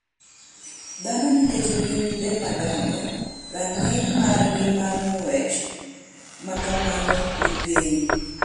Dhano nikech gin le madongo, rang’iny margi mar ng’wech ma kamano ni piny.